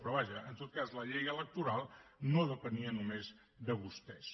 però vaja en tot cas la llei electoral no depenia només de vostès